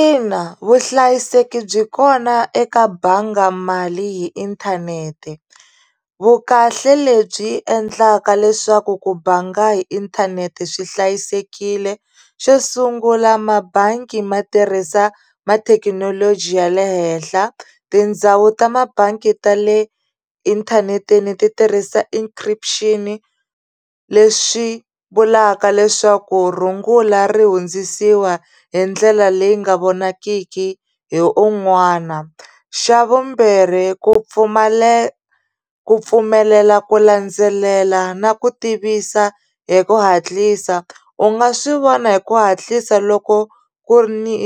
Ina vuhlayiseki byi kona eka bangi mali hi inthanete vukahle lebyi endlaka leswaku ku banga hi inthanete swi hlayisekile xo sungula mabangi ma tirhisa ma thekinoloji ya le henhla tindhawu ta mabangi ta le inthaneteni ti tirhisa encryption leswi vulaka leswaku rungula ri hundzisiwa hi ndlela leyi nga vonakiki hi un'wana xa vumbirhi ku ku pfumelela ku landzelela na ku tivisa hi ku hatlisa u nga swi vona hi ku hatlisa loko ku ri ni